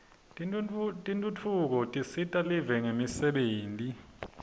tentfutfuko tisita live ngemisebenti